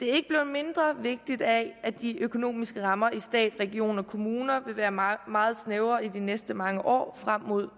mindre vigtigt af at de økonomiske rammer i stat regioner og kommuner vil være meget meget snævre i de næste mange år frem mod